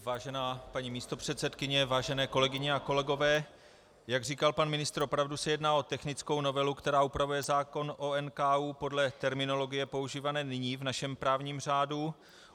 Vážená paní místopředsedkyně, vážené kolegyně a kolegové, jak říkal pan ministr, opravdu se jedná o technickou novelu, která upravuje zákon o NKÚ podle terminologie používané nyní v našem právním řádu.